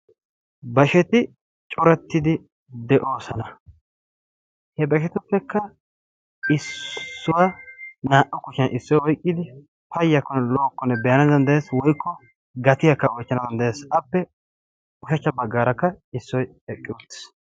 basheti coratidi de'oosona. ha bashetuppekka issuw mnaa"u kushiyan issoy oykkis, gatiyaklka oychana danddayees, appekka ushacha bagaara issoy eqiis.